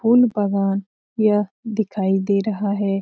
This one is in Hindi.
फूल बना गया दिखाई दे रहा है ।